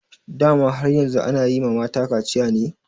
Dama har yanzu ana yi ma mata kaciya ne?